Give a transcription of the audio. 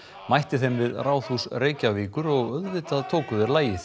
mætti þeim við Ráðhús Reykjavíkur og auðvitað tóku þeir lagið